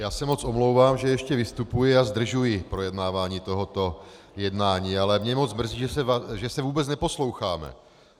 Já se moc omlouvám, že ještě vystupuji a zdržuji projednávání tohoto jednání, ale mě moc mrzí, že se vůbec neposloucháme.